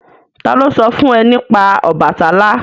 Ta ló sọ fún ẹ nípa Ọbàtálá?